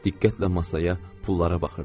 Diqqətlə masaya, pullara baxırdı.